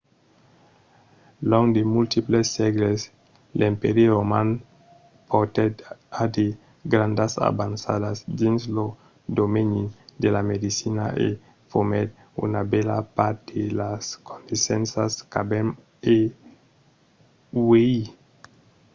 long de multiples sègles l'empèri roman portèt a de grandas avançadas dins lo domeni de la medecina e fomèt una bèla part de las coneissenças qu'avèm uèi